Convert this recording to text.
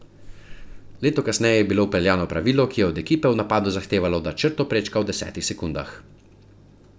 Leto kasneje je bilo vpeljano pravilo, ki je od ekipe v napadu zahtevalo, da črto prečka v desetih sekundah.